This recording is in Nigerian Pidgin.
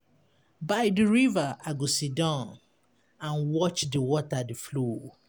By di river, I go sit down and watch di water dey flow.